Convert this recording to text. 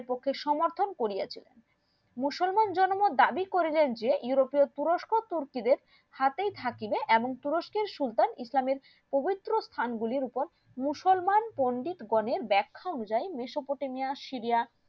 কোনো দাবি করিলেন যে ইউরোপীয় তুরস্ক তুর্কিদের হাতেই থাকিবে এমন তুরস্কের সুলতান ইসলাম এর পবিত্র স্থান গুলির ওপর মুসলমান পন্ডিত গনের বেক্ষা উজাইন মেসপটেমিয়া সিরিয়া